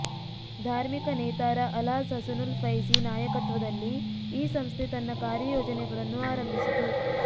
ಧಾರ್ಮಿಕ ನೇತಾರ ಅಲ್ಹಾಜ್ ಹಸನುಲ್ ಫೈಝಿ ನಾಯಕತ್ವದಲ್ಲಿ ಈ ಸಂಸ್ಥೆ ತನ್ನ ಕಾರ್ಯಯೋಜನೆಗಳನ್ನು ಆರಂಭಿಸಿತು